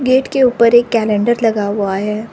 Gate के ऊपर एक कैलेंडर लगा हुआ है।